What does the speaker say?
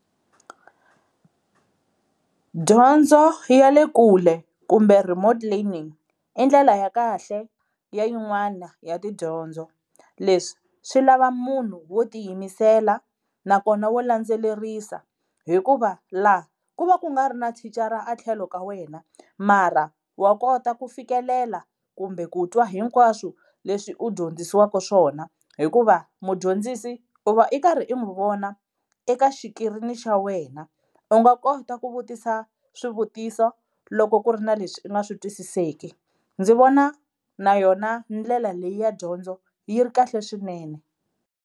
Dyondzo ya le kule kumbe remote learning i ndlela ya kahle ya yin'wana ya tidyondzo. Leswi swi lava munhu wo tiyimisela nakona wo landzelerisa hikuva la ku va ku nga ri na thicara a tlhelo ka wena mara wa kota ku fikelela kumbe ku twa hinkwaswo leswi u dyondzisiwaka swona, hikuva mudyondzisi i va i karhi i n'wi vona eka xikirini xa wena. U nga kota ku vutisa swivutiso loko ku ri na leswi u nga swi twisiseki ndzi vona na yona ndlela leyi ya dyondzo yi ri kahle swinene.